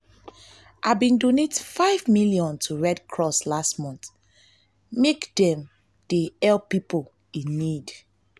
i bin donate five million to red cross last month dem dey help pipo in need.